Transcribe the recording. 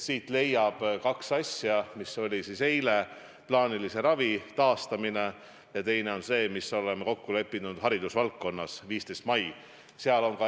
Siit leiab kaks asja: plaanilise ravi taastamine eile ja teine on see, mis me oleme kokku leppinud haridusvaldkonnas, 15. mai.